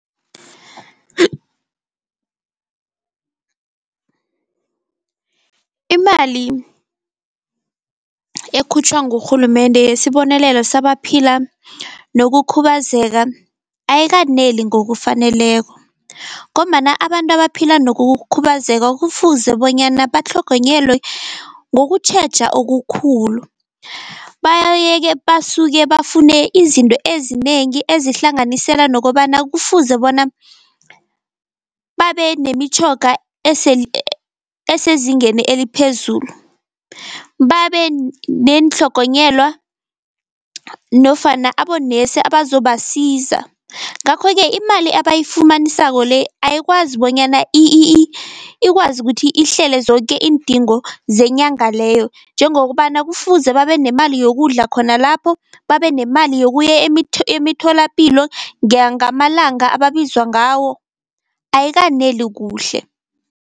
Imali ekhutjhwa ngurhulumende yesibonelelo sabaphila nokukhubazeka ayikaneli ngokufaneleko, ngombana abantu abaphila nokukhubazeka kufuze bonyana batlhogonyelwe ngokutjheja okukhulu. Basuke bafune izinto ezinengi ezihlanganisela nokobana kufuze bona babe nemitjhoga esezingeni eliphezulu, babe neentlhogonyelwa nofana abonesi abazobasiza. Ngakho-ke imali abayifumanisako le ayikwazi bonyana ikwazi kuthi ihlele zoke iindingo zenyanga leyo, njengokobana kufuze babe nemali yokudla khona lapho, babe nemali yokuya emitholapilo ngamalanga ababizwa ngawo, ayikaneli kuhle.